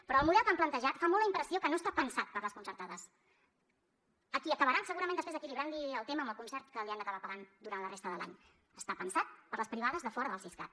però el model que han plantejat fa molt la impressió que no està pensat per a les concertades a qui acabaran segurament després equilibrant li el tema amb el concert que li han d’acabar pagant durant la resta de l’any està pensat per a les privades de fora del siscat